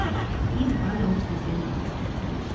и два научно-исследовательских центра